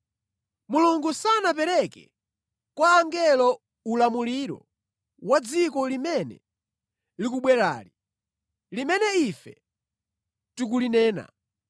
Mulungu sanapereke kwa angelo ulamuliro wa dziko limene likubwerali, limene ife tikulinena.